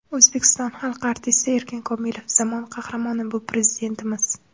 O‘zbekiston xalq artisti Erkin Komilov: zamon qahramoni bu Prezidentimiz.